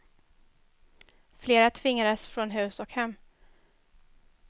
Flera tvingades från hus och hem.